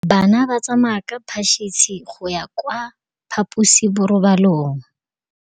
Bana ba tsamaya ka phašitshe go ya kwa phaposiborobalong.